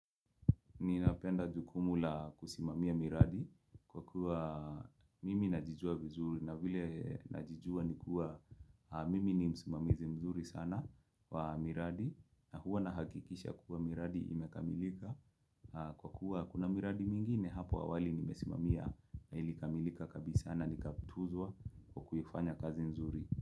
Ninapenda jukumu la kusimamia miradi kwa kuwa mimi najijua vizuri na vile najijua nikuwa mimi ni msimamizi mzuri sana wa miradi na huwa na hakikisha kuwa miradi imekamilika kwa kuwa kuna miradi mingine hapo awali nimesimamia ilikamilika kabisa na nikatuzwa kwa kuifanya kazi mzuri.